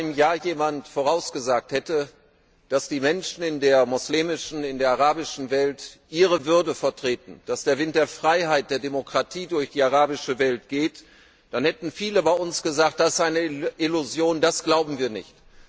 Wenn vor einem Jahr jemand vorausgesagt hätte, dass die Menschen in der muslimischen, in der arabischen Welt ihre Würde vertreten werden, dass der Wind der Freiheit, der Demokratie durch die arabische Welt gehen wird, dann hätten viele bei uns gesagt, das sei eine Illusion, das glauben wir nicht.